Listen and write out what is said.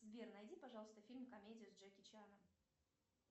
сбер найди пожалуйста фильм комедию с джеки чаном